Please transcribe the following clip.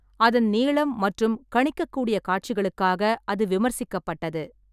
அதன் நீளம் மற்றும் கணிக்கக்கூடிய காட்சிகளுக்காக அது விமர்சிக்கப்பட்டது.